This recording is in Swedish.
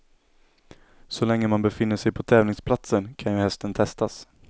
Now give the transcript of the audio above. Så länge man befinner sig på tävlingsplatsen kan ju hästen testas.